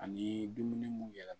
Ani dumuni mun yɛlɛma